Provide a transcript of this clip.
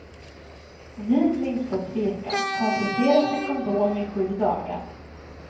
Vid minsta tvekan, komplettera med kondom i sju dagar.